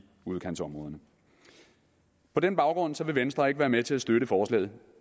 udkantsområderne på den baggrund vil venstre ikke være med til at støtte forslaget